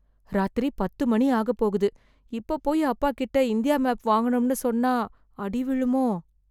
ராத்திரி பத்து மணி ஆகப் போகுது. இப்போ போயி அப்பா கிட்ட இந்தியா மேப்பு வாங்கணும்னு சொன்னா அடி விழுமோ!